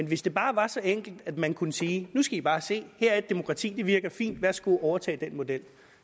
hvis det bare var så enkelt at man kunne sige nu skal i bare se her er et demokrati det virker fint værsgo at overtage den model